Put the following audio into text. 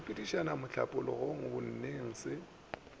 go sepediša mohlapologo bonneng se